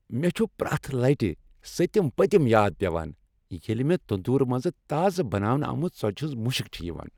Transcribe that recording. مےٚ چھُ پرٛیتھ لٹہ سٔتم پٔتم یاد پیوان ییٚلہ مےٚ تندور منٛز تازٕ بناونہٕ آمژِ ژۄچہ ہنٛد مشک چھ یوان۔